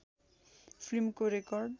फिल्मको रेकर्ड